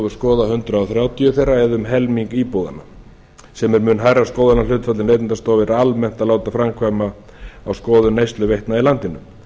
skoða hundrað þrjátíu þeirra eða um helming íbúðanna sem er mun hærra skoðunarhlutfall en neytendastofu er almennt að láta framkvæma á skoðun neysluveitna í landinu